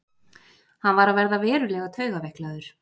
Hann var að verða verulega taugaveiklaður.